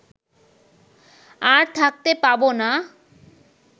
আর থাকতে পাব না